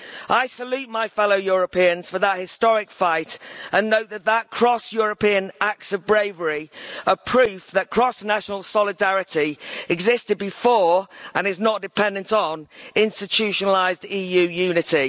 I salute my fellow Europeans for that historic fight and note that cross European acts of bravery are proof that cross national solidarity existed before and is not dependent on institutionalised EU unity.